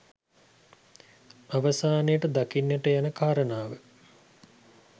අවසානයට දක්වන්නට යන කාරණාව